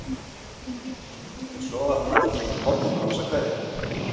Svo var hann allt í einu horfinn án þess að kveðja.